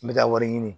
N bɛ taa wari ɲini